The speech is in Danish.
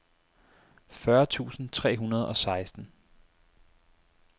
fyrre tusind tre hundrede og seksten